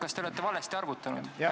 Kas te olete valesti arvutanud?